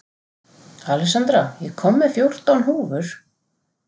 Alexandra, ég kom með fjórtán húfur!